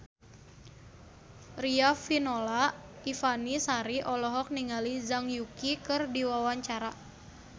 Riafinola Ifani Sari olohok ningali Zhang Yuqi keur diwawancara